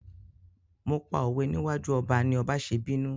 Mo pa òwe níwájú ọba ni ọba ṣe bínú.